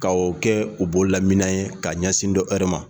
Ka o kɛ u bolo la minɛn ye ka ɲɛsin dɔ wɛrɛ ma.